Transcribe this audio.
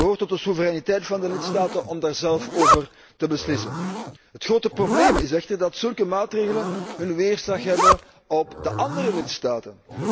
Maar het behoort tot de soevereiniteit van de lidstaten om daar zelf over te beslissen. Het grote probleem is echter dat zulke maatregelen hun weerslag hebben op de andere lidstaten.